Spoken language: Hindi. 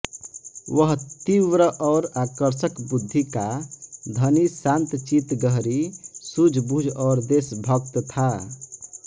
वह तीव्र और आकर्षक बुद्धि का धनी शान्तचित्त गहरी सूझबूझ और देशभक्त था